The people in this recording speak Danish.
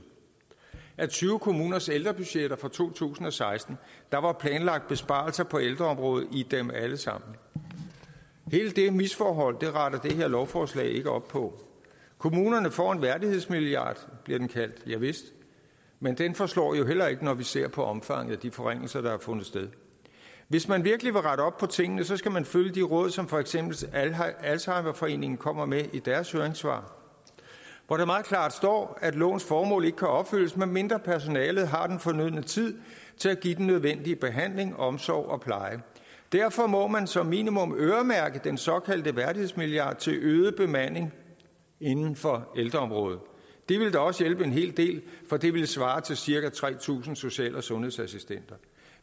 af tyve kommuners ældrebudgetter for to tusind og seksten der var planlagt besparelser på ældreområdet i dem alle sammen hele det misforhold retter det her lovforslag ikke op på kommunerne får en værdighedsmilliard som bliver kaldt javist men den forslår jo heller ikke når vi ser på omfanget af de forringelser der har fundet sted hvis man virkelig vil rette op på tingene skal man følge de råd som for eksempel alzheimerforeningen kommer med i deres høringssvar hvor der meget klart står at lovens formål ikke kan opfyldes medmindre personalet har den fornødne tid til at give den nødvendige behandling omsorg og pleje derfor må man som minimum øremærke den såkaldte værdighedsmilliard til øget bemanding inden for ældreområdet det ville da også hjælpe en hel del for det ville svare til cirka tre tusind social og sundhedsassistenter